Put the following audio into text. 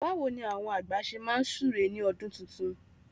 Báwo ni àwọn àgbà ṣe máa súre ní ọdún tuntun?